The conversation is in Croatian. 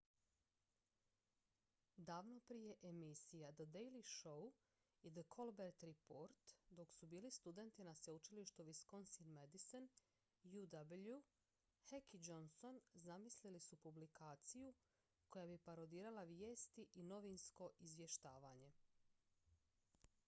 davno prije emisija the daily show i the colbert report dok su bili studenti na sveučilištu wisconsin-madison uw heck i johnson zamislili su publikaciju koja bi parodirala vijesti i novinsko izvještavanje